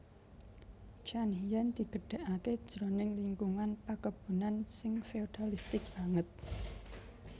Thiam Hien digedhèkaké jroning lingkungan pakebunan sing feodalistik banget